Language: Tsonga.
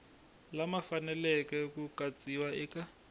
lama faneleke ku katsiwa eka